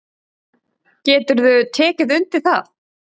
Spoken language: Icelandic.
Geturðu tekið undir það?